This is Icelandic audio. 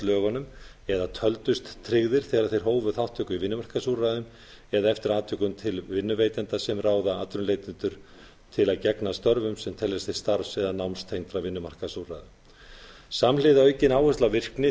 lögunum eða töldust tryggðir þegar þeir hófu þátttöku í vinnumarkaðsúrræðum eða eftir atvikum til vinnuveitenda sem ráða atvinnuleitendur til að gegna störfum sem teljast til starfs eða námstengdra vinnumarkaðsúrræða samhliða aukinni áherslu á virkni